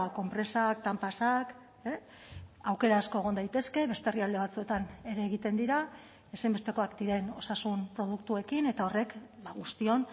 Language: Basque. konpresak tampaxak aukera asko egon daitezke beste herrialde batzuetan ere egiten dira ezinbestekoak diren osasun produktuekin eta horrek guztion